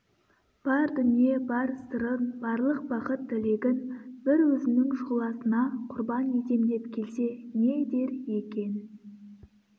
бар дүние бар сырын барлық бақыт тілегін бір өзінің шұғласына құрбан етем деп келсе не дер екен